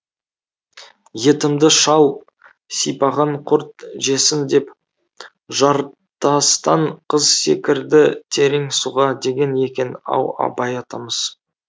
етімді шал сипаған құрт жесін деп жартастан қыз секірді терең суға деген екен ау абай атамыз